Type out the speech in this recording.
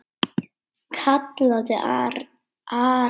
kallaði Ari.